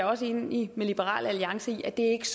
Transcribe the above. også enig med liberal alliance i at det ikke